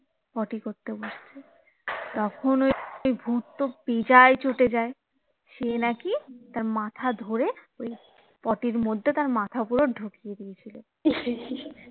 পটি করতে বসছে তখন ওই ভূত তো বেজায় চোটে যায় সে নাকি তার মাথা ধরে ওই পটির মধ্যে তার মাথা পুরো ঢুকিয়ে দিয়েছিলো